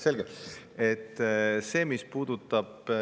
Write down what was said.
Selge.